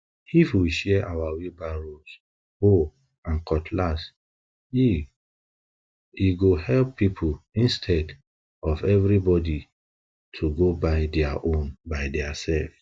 if we share our wheelbarrows hoes and cutlass eeh e go help people intead of everybody to go buy dia own by diaself